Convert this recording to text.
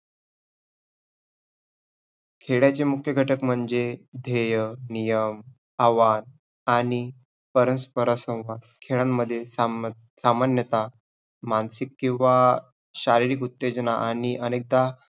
खेळाचे मुख्य घटक म्हणजे ध्येय, नियम, आव्हान आणि परस्पर हा संवाद. खेळांमध्ये सामं~सामान्यता मानसिक किंवा शारीरिक उत्तेजना आणि अनेकदा